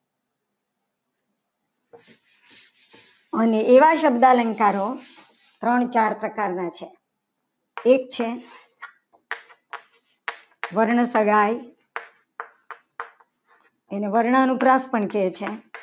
અને એવા શબ્દો અલંકારો ત્રણ ચાર પ્રકારના છે. એક છે વર્ણ સગા એને વર્ણાનુપ્રાસ પણ કહે છે.